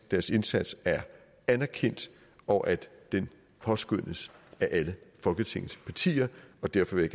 deres indsats er anerkendt og at den påskønnes af alle folketingets partier og derfor vil